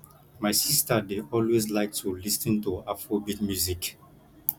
my sister dey always like to lis ten to afrobeat music